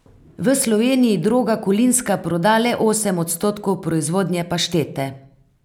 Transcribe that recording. V Sloveniji Droga Kolinska proda le osem odstotkov proizvodnje paštete.